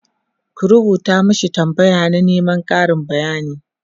ku rubuta mashi tambaya na Neman Karin bayani!